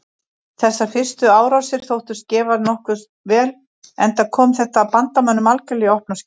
Þessar fyrstu árásir þóttust gefast nokkuð vel enda kom þetta bandamönnum algerlega í opna skjöldu.